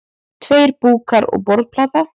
Tveir búkkar og borðplata.